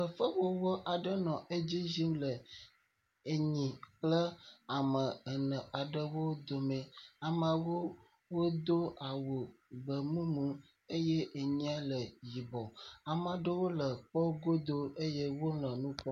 Fefewɔwɔ aɖe nɔ edzi yim le enyi kple ame ene aɖewo dome. Ameawo wodo awu gbemumu eye enyia le yibɔ. Ame aɖewo le kpɔ godo ye wonɔ nu kpɔm.